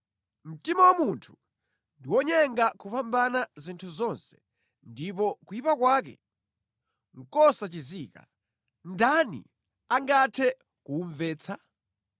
Mtima wa munthu ndi wonyenga kupambana zinthu zonse ndipo kuyipa kwake nʼkosachizika. Ndani angathe kuwumvetsa?